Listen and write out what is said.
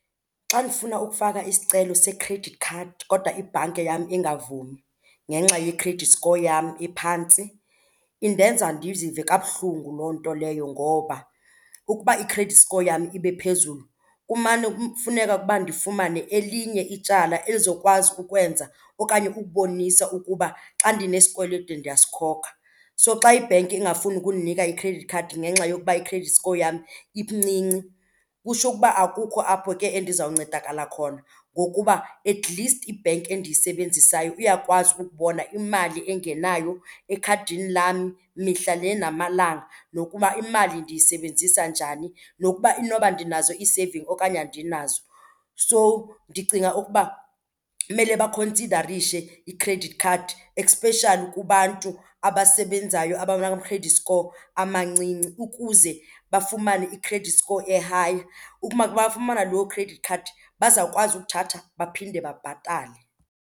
Xa ndifuna ukufaka isicelo se-credit card kodwa ibhanke yam ingavumi ngenxa ye-credit score yam ephantsi, indenza ndizive kabuhlungu loo nto leyo ngoba ukuba i-credit score yam ibe phezulu kumane kufuneke ukuba ndifumane elinye ityala elizokwazi ukwenza okanye ukubonisa ukuba xa ndinesikweleto ndiyasikhoka. So xa ibhenki ingafuni ukundinika i-credit card ngenxa yokuba i-credit score yam incinci, kutsho ukuba akukho apho ke endizawuncedakala khona ngokuba atleast ibhenki endiyisebenzisayo iyakwazi ukubona imali engenayo ekhadini lam mihla le namalanga, nokuba imali ndiyisebenzisa njani, nokuba inoba ndinazo ii-saving okanye andinazo. So ndicinga ukuba kumele bakhonsidarishe i-credit card especially kubantu abasebenzayo abanama-credit score amancinci ukuze bafumane i-credit score e-high. Ukuba bafumana loo credit card bazawukwazi ukuthatha baphinde babhatale.